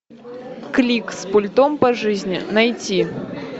клик с пультом по жизни найти